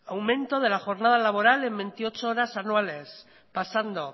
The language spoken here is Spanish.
aumento de la jornada laboral en veintiocho horas anuales pasando